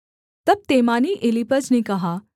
तब तेमानी एलीपज ने कहा